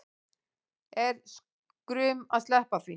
Er skrum að sleppa því